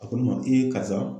A ko ne ma karisa.